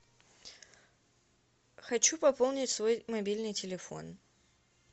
хочу пополнить свой мобильный телефон